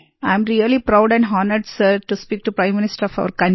I am really proud and honoured sir to speak to prime minister of our country